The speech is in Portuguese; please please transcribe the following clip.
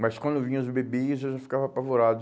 Mas quando vinham os bebês, eu já ficava apavorado.